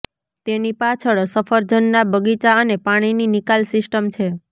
તેની પાછળ સફરજનના બગીચા અને પાણીની નિકાલ સિસ્ટમ છે